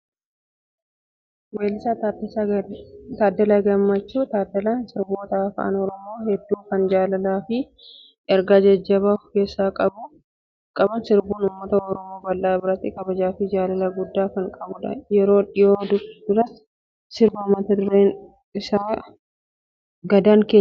Weellisaa Taaddalaa Gammachuu. Taaddalaan sirboota afaan Oromoo hedduu kan jaalalaa fi ergaa jajjabaa ofkeessaa qaban sirbuun uummata Oromoo bal'aa biratti kabajaa fi jaalala guddaa kan qabudha. Yeroo dhiyoo duras sirba mata dureen isaa "Gadaan keenya" jedhu gurra uummataa biraan gahee ture.